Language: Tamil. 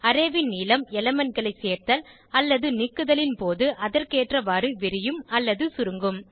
அரே ன் நீளம் elementகளை சேர்த்தல் அல்லது நீக்குதலின் போது அதற்கேற்றவாறு விரியும் அல்லது சுருங்கும்